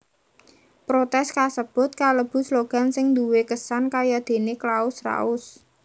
Protès kasebut kalebu slogan sing duwé kesan kayadéné Claus raus